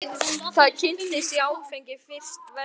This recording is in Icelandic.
Þar kynntist ég áfengi fyrst verulega.